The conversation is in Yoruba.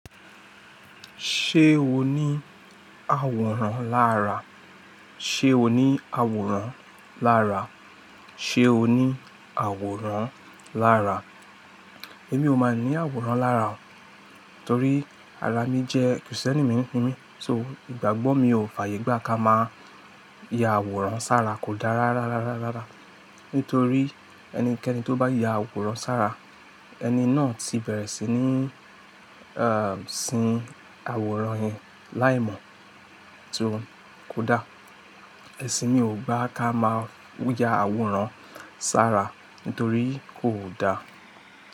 Ṣé o ní àwòrán lára? Ṣé o ní àwòrán lára? Ṣé o ní àwòrán lára? Èmi ò mọ ní àwòrán lára, torí ara mi jẹ́ Christiani mi. So, ìgbàgbọ́ mi ò fàyè gbà ká máa ya àwòrán sára kò dá rárárá. Nítorí ẹnikẹ́ni tó bá ya àwòrán sára, ẹni náà ti bẹ̀rẹ̀ sí ní, sin àwòrán yẹn láìmọ̀. So kò dá. Ìsìn mi ò gbà ká máà ya àwòrán sára nítorí kò dá.